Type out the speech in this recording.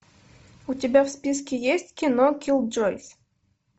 у тебя в списке есть кино киллджойс